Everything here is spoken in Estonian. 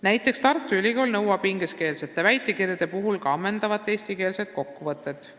Näiteks nõuab Tartu Ülikool ingliskeelsete väitekirjade juurde ammendavat eestikeelset kokkuvõtet.